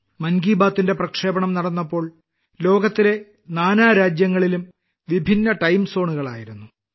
മൻ കി ബാത്തിന്റെ പ്രക്ഷേപണം നടന്നപ്പോൾ ലോകത്തിലെ നാനാരാജ്യങ്ങളിലും വിഭിന്ന ടൈം ജോണ് ആയിരുന്നു